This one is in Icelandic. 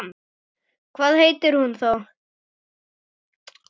Hvað heitir hún þá?